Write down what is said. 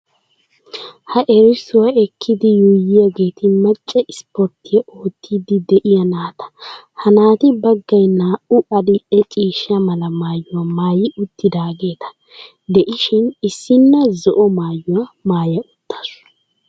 Ha erissuwa ekkidi yuuyyiyageeti macca ispporttiya oottiddi de'iya naata. Ha naati baggay naa"u adil"e ciishsha mala maayuwa maayi uttidaageeti de'ishin issinna zo"o maayuwa maaya uttaasu.